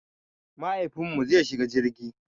Mahaifinmu zai shiga jirgi.